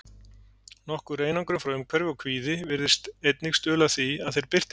Nokkur einangrun frá umhverfi og kvíði virðast einnig stuðla að því að þeir birtist.